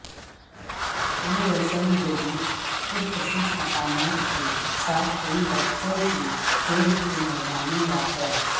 یہ روشن جدید پرکشش مقامات کے ساتھ کئی بچوں کے کھیل کے میدانوں واقع